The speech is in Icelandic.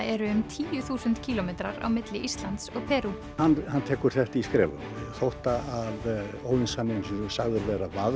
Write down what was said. eru um tíu þúsund kílómetrar á milli Íslands og Perú hann tekur þetta í skrefum þótt óðinshaninn sé sagður vera